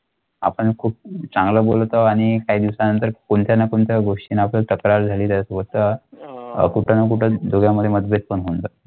आता खूप चांगला बोलतो आणि काही दिवसांत कोणत्या ना कोणत्या गोष्टी नकळत होतं कुठल्या कुठे मध्ये पण म्हणतात.